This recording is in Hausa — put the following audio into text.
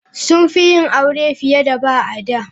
Sun fi yin aure fiye da ba, a da.